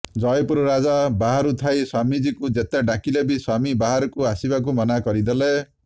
ଜୟପୁର ରାଜା ବାହାରୁ ଥାଇ ସ୍ୱାମୀଜୀଙ୍କୁ ଯେତେ ଡାକିଲେ ବି ସ୍ୱାମୀ ବାହାରକୁ ଆସିବାକୁ ମନା କରିଦେଲେ